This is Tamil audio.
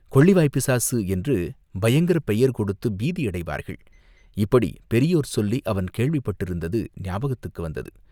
கொள்ளிவாய்ப் பிசாசு என்று பயங்கரப் பெயர் கொடுத்துப் பீதி அடைவார்கள், இப்படிப் பெரியோர் சொல்லி அவன் கேள்விப்பட்டிருந்தது, ஞாபகத்துக்கு வந்தது.